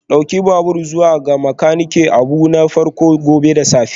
Ɗauki babur zuwa ga makaniki abu na farko gobe da safe